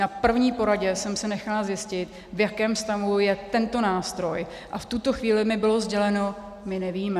Na první poradě jsem si nechala zjistit, v jakém stavu je tento nástroj, a v tuto chvíli mi bylo sděleno: My nevíme.